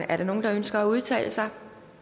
er der nogen der ønsker at udtale sig